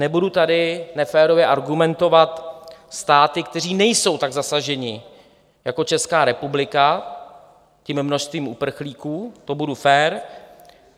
Nebudu tady neférově argumentovat státy, které nejsou tak zasaženy jako Česká republika tím množstvím uprchlíků, to budu fér.